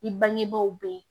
I bangebaaw bɛ yen